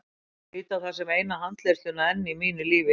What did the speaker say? Ég lít á það sem eina handleiðsluna enn í mínu lífi.